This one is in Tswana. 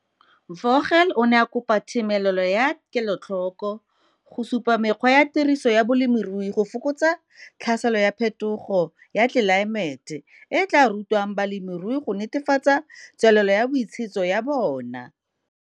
Vogel o ne a kopa themelelo ya kelotlhoko go supa mekgwa ya tiriso ya bolemirui go fokotsa tlhaselo ya phetogo ya tlelaemete e e tlaa rutwang balemirui go netefatsa tswelelo ya boitshetso ya bona.